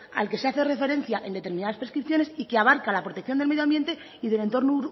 al que se hace referencia en determinadas prescripciones y que abarca la protección del medioambiente y del entorno